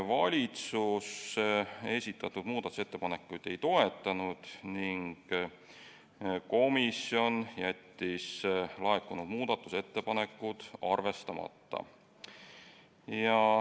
Valitsus esitatud muudatusettepanekuid ei toetanud ning komisjon jättis laekunud muudatusettepanekud arvestamata.